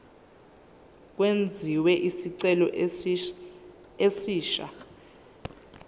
kwenziwe isicelo esisha